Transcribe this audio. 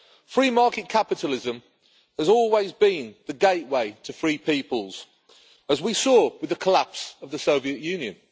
Free market capitalism has always been the gateway to free peoples, as we saw with the collapse of the Soviet Union.